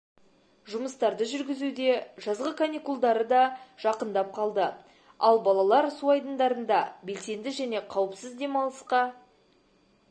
жұмыстарды жүргізуде жазғы каникулдары да жақындап қалды ал балалар су айдындарында белсенді және қауіпсіз демалысқа